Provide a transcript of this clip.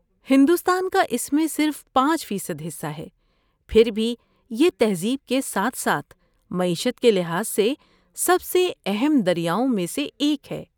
ہندوستان کا اس میں صرف پانچ فیصد حصہ ہے، پھر بھی یہ تہذیب کے ساتھ ساتھ معیشت کے لحاظ سے سب سے اہم دریاؤں میں سے ایک ہے۔